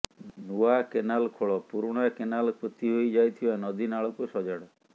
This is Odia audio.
ନୂଆ କେନାଲ ଖୋଳ ପୁରୁଣା କେନାଲ ପୋତିହୋଇ ଯାଇଥିବା ନଦୀନାଳକୁ ସଜାଡ